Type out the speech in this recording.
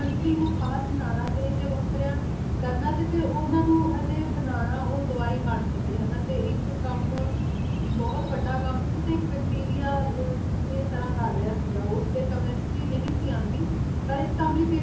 penicillin ਨੂੰ ਖਾਸ ਬਣਾਉਣਾ ਤੇ ਇੰਨੇ ਵੱਖਰਾ ਕਰਨਾ ਤੇ ਫੇਰ ਉਨ੍ਹਾਂ ਨੂੰ ਅਜਿਹੇ ਬਣਾਉਣਾ ਕਿ ਉਹ ਦਵਾਈ ਬਣ ਸਕੇ ਹੈ ਨਾ ਤੇ ਇਕ ਕੰਮ ਬਹੁਤ ਵੱਢਾ ਕੰਮ ਸੀ ਤੇ ਇੱਕ ਬੈਕਟੀਰੀਆ ਦੀ ਤਰ੍ਹਾਂ ਕਰ ਰਿਹਾ ਸੀਗਾ ਉਹ ਤੇ chemistry ਨਹੀਂ ਸੀ ਆਉਂਦੀ ਪਰ ਇਸ ਕੰਮ ਲਈ ਫੇਰ ਵੀ